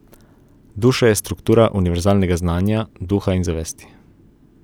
Duša je struktura univerzalnega znanja, duha in zavesti.